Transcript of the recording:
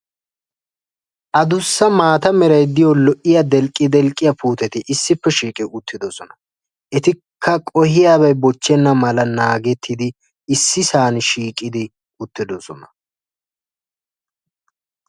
aduussa maata meray de"yo lo"iya delqqi delqqiya puuteti issippe shiqi uttidosona. Etikka qohiyaabay bochchenna mala naagettidi issisan shiiqidi utidosona.